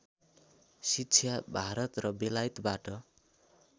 शिक्षा भारत र बेलायतबाट